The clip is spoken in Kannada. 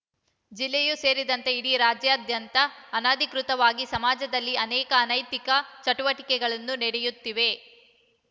ಜಿಲ್ಲೆಯೂ ಸೇರಿದಂತೆ ಇಡೀ ರಾಜ್ಯಾದ್ಯಂತ ಅನಧಿಕೃತವಾಗಿ ಸಮಾಜದಲ್ಲಿ ಅನೇಕ ಅನೈತಿಕ ಚಟುವಟಿಕೆಗಳನ್ನು ನಡೆಯುತ್ತಿವೆ